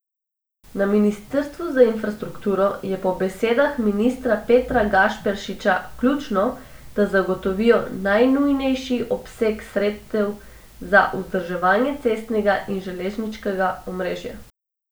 Na ministrstvu za infrastrukturo je po besedah ministra Petra Gašperšiča ključno, da zagotovijo najnujnejši obseg sredstev za vzdrževanje cestnega in železniškega omrežja.